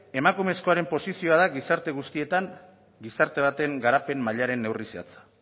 emakumezkoaren posizioa da gizarte guztietan gizarte baten garapen mailaren neurri zehatza